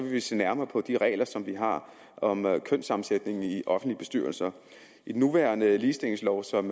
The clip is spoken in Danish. vi se nærmere på de regler som vi har om kønssammensætningen i offentlige bestyrelser i den nuværende ligestillingslov som